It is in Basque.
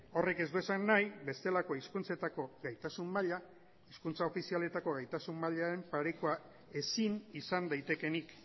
horrek ez du esan nahi bestelako hizkuntzetako gaitasun maila hizkuntza ofizialetako gaitasun mailaren parekoa ezin izan daitekeenik